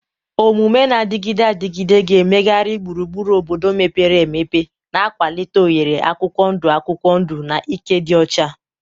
Omume na-adịgide adịgide ga-emegharị gburugburu obodo mepere emepe, na-akwalite oghere akwụkwọ ndụ akwụkwọ ndụ na ike dị ọcha.